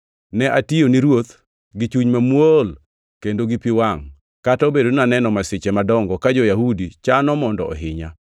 Ne atiyo ni Ruoth gi chuny mamuol, kendo gi pi wangʼ, kata obedo ni naneno masiche madongo ka jo-Yahudi chano mondo ohinya.